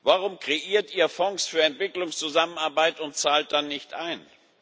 Warum kreiert ihr Fonds für Entwicklungszusammenarbeit und zahlt dann nicht ein?